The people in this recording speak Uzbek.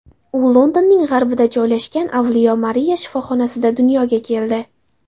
U Londonning g‘arbida joylashgan avliyo Mariya shifoxonasida dunyoga keldi.